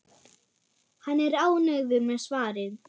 Hann er ánægður með svarið.